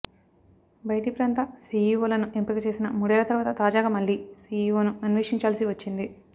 బయటి ప్రాంత సిఇఒలను ఎంపికచేసిన మూడేళ్ల తర్వాత తాజాగా మళ్లీ సిఇఒను అన్వేషించాల్సి వచ్చింది